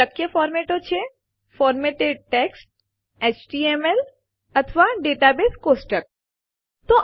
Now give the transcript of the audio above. શક્ય ફોરમેટો બંધારણો છે ફોરમેટેડ ટેક્સ્ટ એચટીએમએલ અથવા દાતા સોર્સ ટેબલ